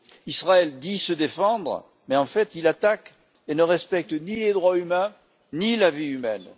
Israël dit se défendre mais, en fait, il attaque et ne respecte ni les droits humains, ni la vie humaine.